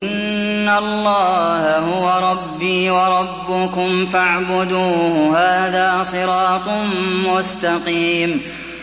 إِنَّ اللَّهَ هُوَ رَبِّي وَرَبُّكُمْ فَاعْبُدُوهُ ۚ هَٰذَا صِرَاطٌ مُّسْتَقِيمٌ